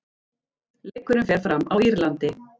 Leikurinn fer fram á Írlandi.